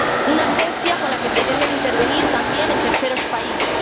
una agencia con la que pretenden intervenir también en terceros países.